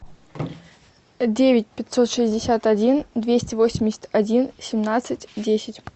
девять пятьсот шестьдесят один двести восемьдесят один семнадцать десять